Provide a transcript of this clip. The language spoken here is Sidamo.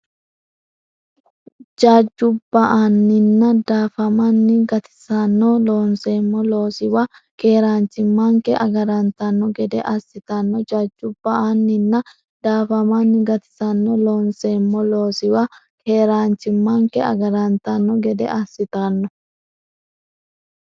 Jajju ba”anninna daafamanni gatissanno; loonseemmo loosiwa keeraanchimmanke agarantanno gede assitanno Jajju ba”anninna daafamanni gatissanno; loonseemmo loosiwa keeraanchimmanke agarantanno gede assitanno.